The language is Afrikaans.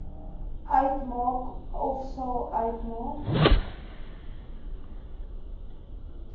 uitmaak ofsal uitmaak